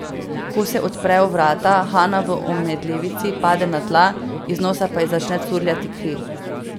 Ko se odprejo vrata, Hana v omedlevici pade na tla, iz nosa pa ji začne curljati kri.